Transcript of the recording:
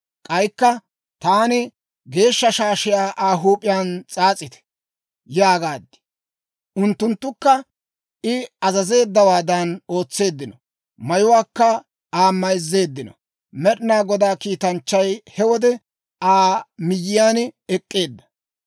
K'aykka Taan, «Geeshsha shaashiyaa Aa huup'iyaan s'aas'ite» yaagaad. Unttunttukka I azazeeddawaadan ootseeddino; mayuwaakka Aa mayzzeeddino. Med'inaa Godaa kiitanchchay he wode Aa miyyiyaan ek'k'eedda.